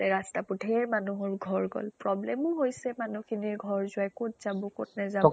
ৰাস্তাবোৰ, ঢেৰ মানুহৰ ঘৰ গল, problem ও হৈছে মানুহ খিনিৰ ঘৰ যোৱাই, কʼত যাব নেজাব